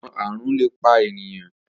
Awọn àrùn le pa eniyan.